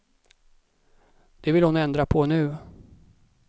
Det vill hon ändra på nu.